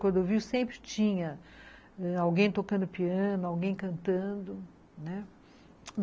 Cordovil sempre tinha ãh alguém tocando piano, alguém cantando, né.